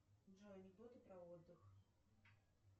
джой анекдоты про отдых